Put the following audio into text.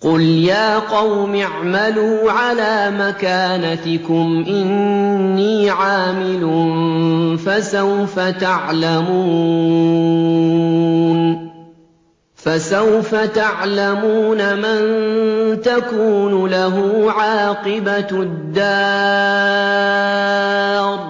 قُلْ يَا قَوْمِ اعْمَلُوا عَلَىٰ مَكَانَتِكُمْ إِنِّي عَامِلٌ ۖ فَسَوْفَ تَعْلَمُونَ مَن تَكُونُ لَهُ عَاقِبَةُ الدَّارِ ۗ